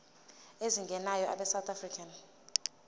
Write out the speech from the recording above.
ezingenayo abesouth african